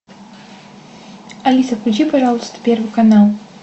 алиса включи пожалуйста первый канал